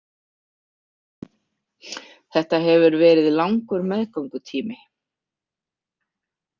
Þetta hefur verið langur meðgöngutími?